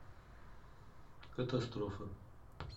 катастрофа